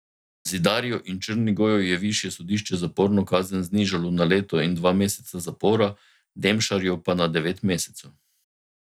Zidarju in Črnigoju je višje sodišče zaporno kazen znižalo na leto in dva meseca zapora, Demšarju pa na devet mesecev.